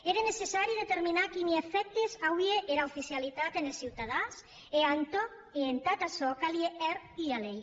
ère necessari determinar quini efèctes auie era oficialitat enes ciutadans e entàd açò calie hèr ua lei